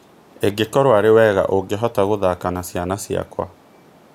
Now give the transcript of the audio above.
ĩngũkorwo arĩ wega ũngihota gũthaka na ciana ciakwa